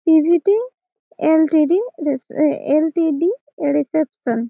PVT. LTD. রিসে আ LTD এ রিসেপশন ।